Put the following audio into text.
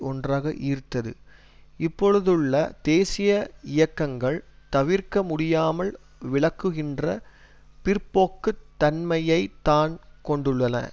ஒன்றாக ஈர்த்த்து இப்பொழுதுள்ள தேசிய இயக்கங்கள் தவிர்க்க முடியாமல் விலக்குகின்ற பிற்போக்கு தன்மையை தான் கொண்டுள்ளன